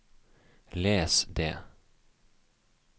les det